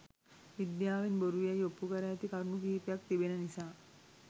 විද්‍යාවෙන් බොරු යැයි ඔප්පු කර ඇති කරුණු කිහිපයක් තිබෙන නිසා